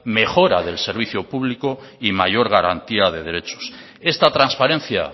mejora del servicio público y mayor garantía de derechos esta transparencia